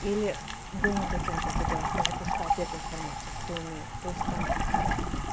или думать о чем-то другом запускать эту информацию кто умеет то есть там